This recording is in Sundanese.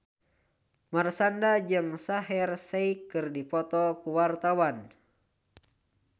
Marshanda jeung Shaheer Sheikh keur dipoto ku wartawan